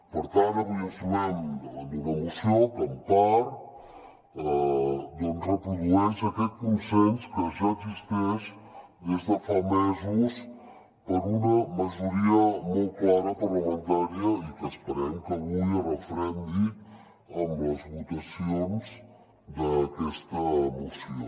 per tant avui ens trobem davant d’una moció que en part reprodueix aquest consens que ja existeix des de fa mesos per una majoria molt clara parlamentària i que esperem que avui es referendi amb les votacions d’aquesta moció